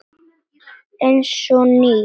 Eins og nýr.